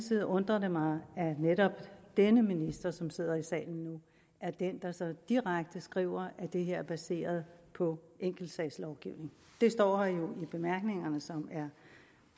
det undrer mig at netop denne minister som sidder i salen nu er den der så direkte skriver at det her er baseret på enkeltsagslovgivning det står jo her i bemærkningerne som er